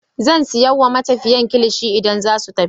Zan sai wa matafiyan kilishi idan zasu tafi.